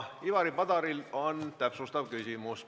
Ivari Padaril on täpsustav küsimus.